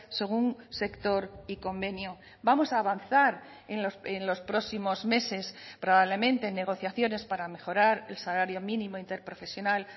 según sector y convenio vamos a avanzar en los próximos meses probablemente en negociaciones para mejorar el salario mínimo interprofesional